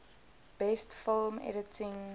best film editing